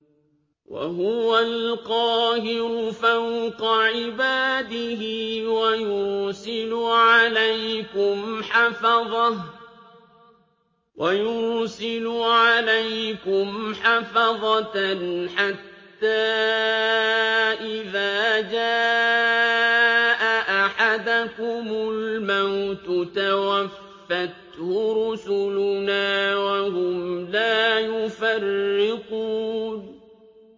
وَهُوَ الْقَاهِرُ فَوْقَ عِبَادِهِ ۖ وَيُرْسِلُ عَلَيْكُمْ حَفَظَةً حَتَّىٰ إِذَا جَاءَ أَحَدَكُمُ الْمَوْتُ تَوَفَّتْهُ رُسُلُنَا وَهُمْ لَا يُفَرِّطُونَ